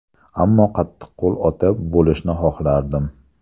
Ammo qattiqqo‘l ota bo‘lishni xohlardim.